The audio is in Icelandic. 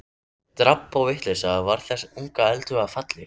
Drabb og vitleysa varð þessum unga eldhuga að falli.